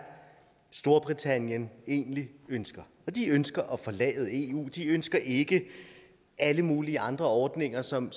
storbritannien egentlig ønsker de ønsker at forlade eu de ønsker ikke alle mulige andre ordninger som